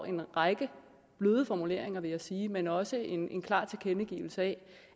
en række bløde formuleringer vil jeg sige men også en klar tilkendegivelse